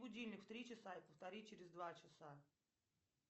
будильник в три часа и повтори через два часа